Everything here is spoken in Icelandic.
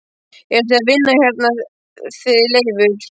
Eruð þið að vinna hérna þið Leifur?